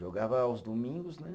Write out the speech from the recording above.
Jogava aos domingos, né?